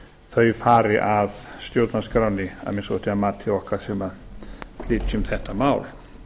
þau fari af stjórnarskránni að minnsta kosti að mati okkar sumra sem flytjum þetta mál